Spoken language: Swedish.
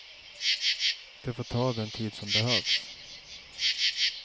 Det får ta den tid som behövs.